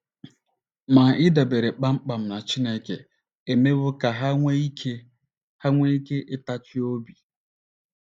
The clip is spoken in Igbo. Ma ịdabere kpam kpam na Chineke emewo ka ha nwee ike ha nwee ike ịtachi obi.